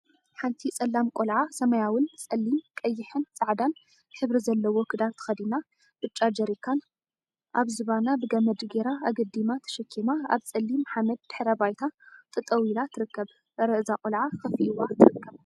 ሓንቲ ፀላም ቆልዓ ሰማያዊን ፣ፀሊም፣ ቀይሕን ፃዕዳን ሕብሪ ዘለዎ ክዳን ተከዲና ብጫ ጀሪካን አብ ዝባና ብገመድ ገይራ አገዲማ ተሸኪማ አብ ፀሊም ሓመድ ድሕረ ባይታ ጠጠው ኢላ ትርከብ። አረ እዛ ቆልዓ ከፊእዋ ትርከብ።